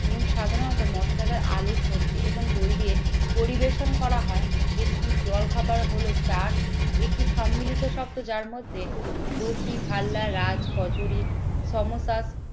এবং সাধারণত মশলাদার আলু সবজি এবং দই দিয়ে পরিবেশন করা হয় একটি জলখাবার হলো চাট একটি সম্মিলিত শক্ত, যার মধ্যে দোহি ভাল্লা রাজ কচুরি সমসা।